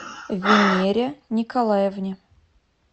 венере николаевне